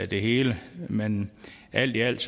det hele men alt i alt